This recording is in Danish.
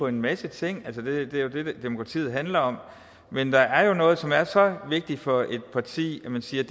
en masse ting altså det det er det demokratiet handler om men der er jo noget som er så vigtigt for et parti at man siger